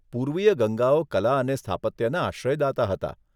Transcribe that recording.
પૂર્વીય ગંગાઓ કલા અને સ્થાપત્યના આશ્રયદાતા હતા.